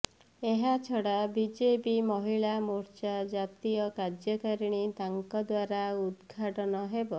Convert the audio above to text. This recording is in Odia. ଏହାଛଡ଼ା ବିଜେପି ମହିଳା ମୋର୍ଚ୍ଚା ଜାତୀୟ କାର୍ଯ୍ୟକାରିଣୀ ତାଙ୍କ ଦ୍ୱାରା ଉଦ୍ଘାଟନ ହେବ